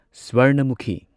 Swarnamukhi